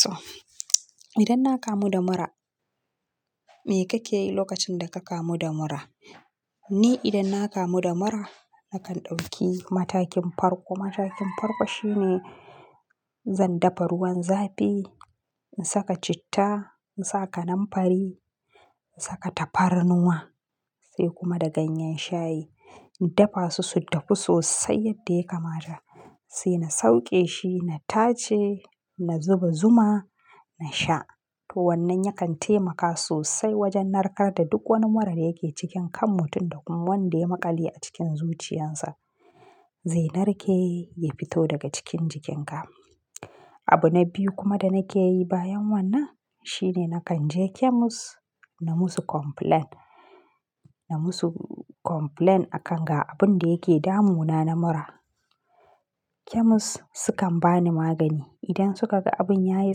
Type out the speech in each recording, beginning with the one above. So idan na kamu da mura, me kake yi lokacin da ka kamu da mura? Ni idan na kamu da mura nakan ɗauki matakin farko. Matakin farko shine zan dafa ruwan zafi, in saka citta, in sa kananfari, in saka tafarnuwa sai kuma da ganyen shayi. In dafa su su dahu sosai yadda ya kamata sai na sauke shi, na tace, na zuba zuma na sha. To wannan yakan taimaka sosai wajen narkar da duk wani mura da yake cikin kanmu tun da kuma wanda ya maƙale a cikin zuciyarsa. Zai narke ya fito daga cikin jikinka. Abu na biyu kuma da nake yi bayan wannan shine nakan je kemis na musu complaint. Na musu complaint akan ga abun da yake damunana na mura. Kemis sukan bani magani. Idan suka ga abun ya yi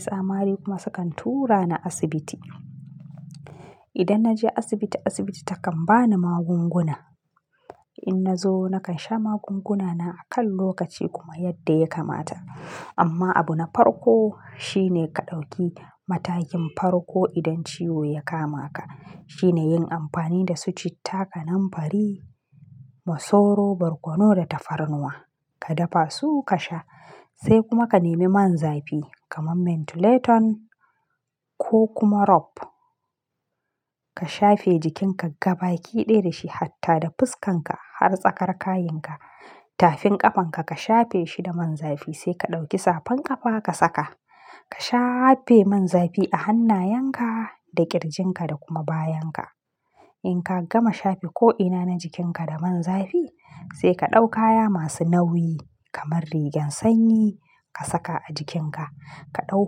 tsamani kuma sukan tura ni asibiti. Idan na je asibiti, asibiti takan bani magunguna. In na zo nakan sha magungunana a kan lokaci kuma yadda ya kamata. Amma abu na farko shine ka ɗauki matakin farko idan ciwo ya kama ka. Shine yin amfani da su citta, kananfari, masoro, barkono da tafarnuwa. Ka dafa su ka sha sai kuma ka nemi man zafi kamar mentholatum ko kuma rub. Ka shafe jikinka gaba kiɗe da shi hatta da fuskanka har tsakar kayinka. Tafin ƙafanka ka shafe shi da man zafi sai ka ɗauki safan ƙafa ka saka. Ka shafe man zafi a hannayenka da ƙirjinka da kuma bayan ka. In ka gama shafe ko'ina na jikinka da man zafi sai ka ɗauka kaya masu nauyi kamar rigen sanyi ka saka a jikinka. Ka ɗau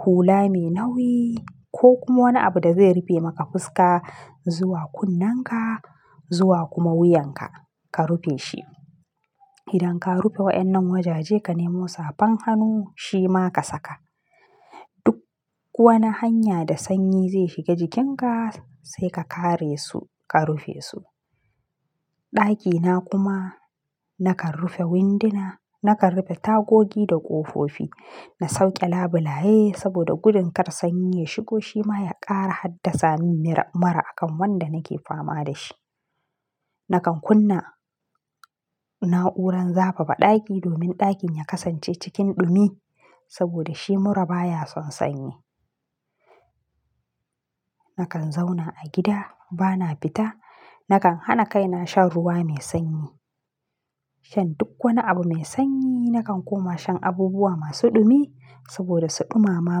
hula mai nauyi ko kuma wani abu da zai rufe maka fuska zuwa kunnenka zuwa kuma wuyanka ka rufe shi. Idan ka rufe waɗannan wajaje ka nemo safan hannu shi ma ka saka. Duk wani hanya da sanyi zai shiga jikinka sai ka kare su, ka rufe su. ɗAkina kuma nakan rufe windina, nakan rufe tagogi da ƙofofi. Na sauke labulaye saboda gudun kar sanyi ya shigo shi ma ya ƙara haddasa min mura akan wanda nake fama da shi. Nakan kunna na'uran zafafa ɗaki domin ɗakin ya kasance cikin ɗumi saboda shi mura baya son sanyi. Nakan zauna a gida bana fita. Nakan hana kaina shan ruwa mai sanyi. Shan duk wani abu mai sanyi. Nakan kuma shan abubuwa masu ɗumi saboda su ɗumama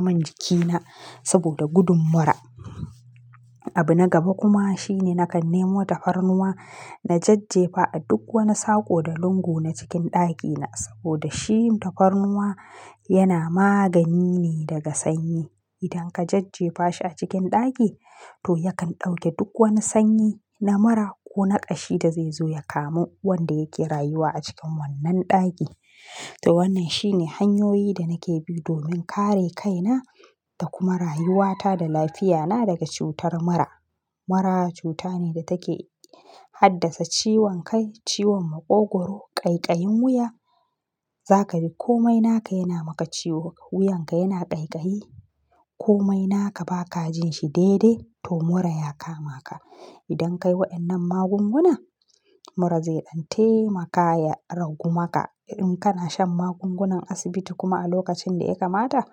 min jikina saboda gudun mura. Abu na gaba kuma shine nakan nemo tafarnuwa na jajjefa a duk wani sako da lungu na cikin ɗakina saboda shi tafarnuwa yana magani ne daga sanyi. Idan ka jajjefa shi a cikin ɗaki to yakan ɗauke duk wani sanyi na mura ko na ƙashi da zai zo ya kamu wanda yake rayuwa a cikin wannan ɗaki. To wannan shine hanyoyi da nake bi domin kare kaina da kuma rayuwata da lafiyana daga cutar mura. Mura cuta ne da take haddasa ciwon kai, ciwon maƙogwaro, ƙaiƙayin wuya. Za ka bi komai naka yana maka ciwo, wuyanka yana ƙaiƙayi. Komai naka ba ka jin shi daidai to mura ya kama ka. Idan ka yi waɗannan magunguna mura zai ɗan taimaka ya ragu maka. In kana shan magungunan asibiti kuma a lokacin da ya kamata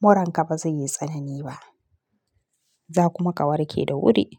muranka ba zai yi tsanani ba. Za kuma ka warke da wuri.